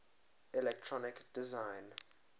electronic design